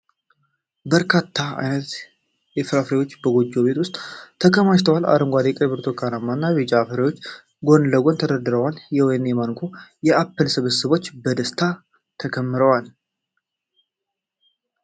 በርካታ ዓይነት ፍራፍሬዎች በጎጆ ቤት ውስጥ ተከማችተዏል። አረንጓዴ፣ ቀይ፣ ብርቱካናማ እና ቢጫ ፍራፍሬዎች ጎን ለጎን ተደርድረዋል። የወይን፣ የማንጎ እና የአፕል ስብስቦች በደስታ ተከምረዋል።